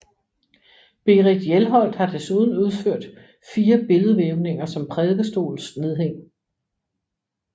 Berit Hjelholt har desuden udført fire billedvævninger som prædikestolsnedhæng